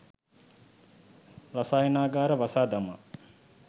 රසායනාගාරය වසා දමා